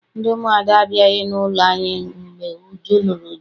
Ndị umuada abịaghị n'ụlọ anyị mgbe Uju lụrụ di